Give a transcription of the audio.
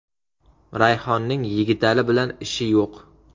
Rayhonning Yigitali bilan ishi yo‘q.